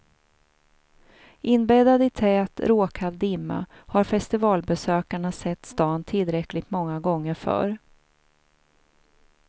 Inbäddad i tät, råkall dimma har festivalbesökarna sett stan tillräckligt många gånger förr.